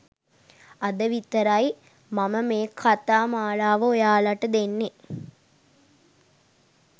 අද විතරයි මම මේ කතා මාලාව ඔයාලට දෙන්නේ.